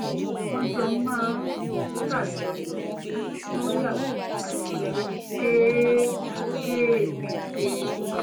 wọ́n jọ máa ń ṣàjọyọ̀ lórí àwọn àṣeyọrí kéékèèké wọ́n